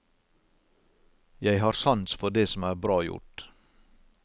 Jeg har sans for det som er bra gjort.